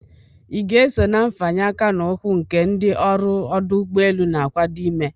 Ị ga-eso na nfanye aka na ukwu nke ndị ọrụ ọdụ ụgbọelu na-akwado ime?